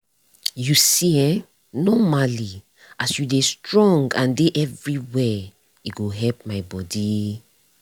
you see eh normally as you dey strong and dey everywhere e go help my bodi.